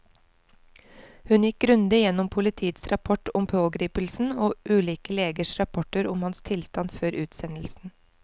Hun gikk grundig gjennom politiets rapport om pågripelsen og ulike legers rapporter om hans tilstand før utsendelsen.